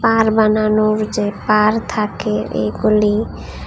পার বানানোর যে পার থাকে এইগুলি।